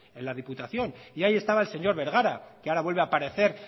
en la diputación y ahí estaba el señor bergara que ahora vuelve a aparecer